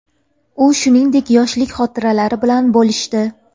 U shuningdek yoshlik xotiralari bilan bo‘lishdi.